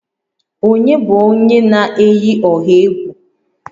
Ònye bụ onye na-eyi ọha egwu?